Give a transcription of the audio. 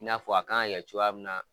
I n'a fɔ a kan ŋa kɛ cogoya min na